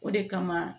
O de kama